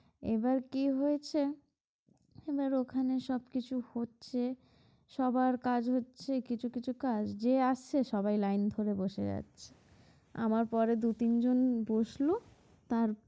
এবার কি হয়েছে এবার ওখানে সব কিছু হচ্ছে সবার কাজ হচ্ছে কিছু কিছু কাজ যে আসছে সবাই লাইন ধরে বসে যাচ্ছে আমার পরে দু তিন জন বসলো তার